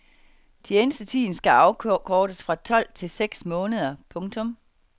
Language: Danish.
Tjenestetiden skal afkortes fra tolv til seks måneder. punktum